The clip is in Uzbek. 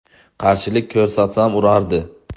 Qarshilik ko‘rsatsam urardi.